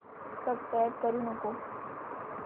subscribe करू नको